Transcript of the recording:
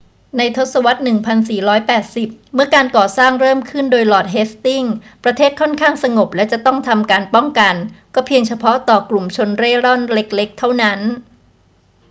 ในทศวรรษ 1480 เมื่อการก่อสร้างเริ่มขึ้นโดยลอร์ดเฮสติงส์ ประเทศค่อนข้างสงบและจะต้องทำการป้องกันก็เพียงเฉพาะต่อกลุ่มชนเร่ร่อนเล็ก ๆ เท่านั้น